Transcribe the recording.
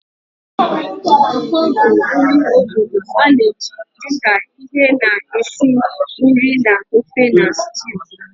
Okpor bụ nri obodo a na-eji dị ka ihe na-esi nri na ofe na stew.